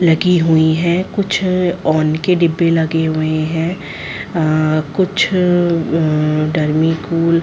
--लगी हुई है कुछ अ औंन के डिब्बे लगे हुए है अ कुछ अ डर्मिकूल --